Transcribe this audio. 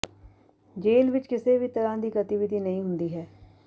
ਜੇਲ੍ਹ ਵਿੱਚ ਕਿਸੇ ਵੀ ਤਰ੍ਹਾਂ ਦੀ ਗਤੀਵਿਧੀ ਨਹੀਂ ਹੁੰਦੀ ਹੈ